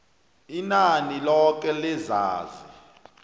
inani loke lezazi